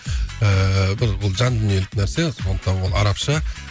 ііі бұл бір жан дүниелік нәрсе сондықтан бұл арабша